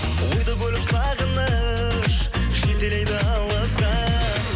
ойды бөліп сағыныш жетелейді алысқа